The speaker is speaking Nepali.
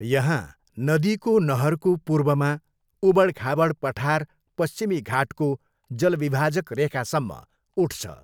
यहाँ, नदीको नहरको पूर्वमा, उबडखाबड पठार पश्चिमी घाटको जलविभाजक रेखासम्म उठ्छ।